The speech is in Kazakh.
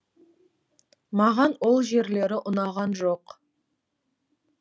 маған ол жерлері ұнаған жоқ